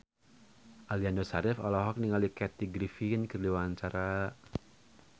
Aliando Syarif olohok ningali Kathy Griffin keur diwawancara